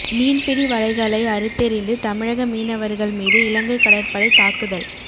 மீன்பிடி வலைகளை அறுத்தெறிந்து தமிழக மீனவர்கள் மீது இலங்கை கடற்படை தாக்குதல்